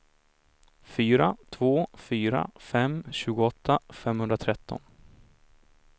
fyra två fyra fem tjugoåtta femhundratretton